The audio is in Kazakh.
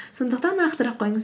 сондықтан нақтырақ қойыңыз